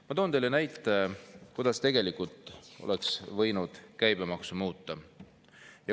Ma toon teile näite selle kohta, kuidas tegelikult oleks võinud käibemaksu muuta.